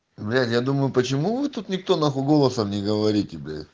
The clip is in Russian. блять я думаю почему вы тут никто нахуй голосом не говорите нахуй блять